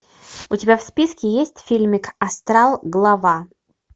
у тебя в списке есть фильмик астрал глава